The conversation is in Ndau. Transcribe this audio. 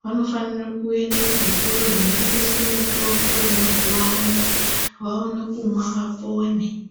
Vanofanirwa kuenda kuzvitoro zvinotengeswa mitombo yemazuva ano vaone kumwa vapore.